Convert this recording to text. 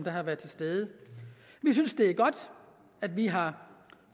har været til stede vi synes det er godt at vi har